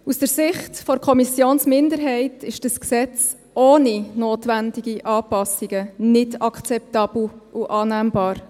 Aus Sicht der Kommissionsminderheit ist dieses Gesetz ohne notwendige Anpassungen nicht akzeptabel und annehmbar.